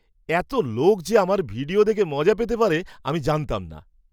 এত লোক যে আমার ভিডিও দেখে মজা পেতে পারে আমি জানতাম না!